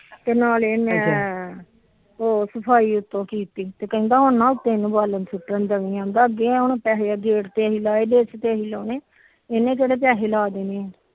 ਤੇ ਨਾਲੇ ਮੈ ਉਹ ਸਫਾਈ ਉਤੋ ਕੀਤੀ ਕਹਿੰਦਾ ਹੁਣ ਉਤੇ ਬਾਲਣ ਸੁਟਣ ਦੇਤੇ ਅੱਗੇ ਪੈਹੇ ਗੇਟ ਤੇ ਅਸੀ ਲੋਏ ਇਹਨੇ ਕਿਹੜੇ ਪੈਹੇ ਲਾ ਦੇਣੇ